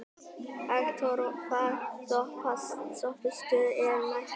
Hektor, hvaða stoppistöð er næst mér?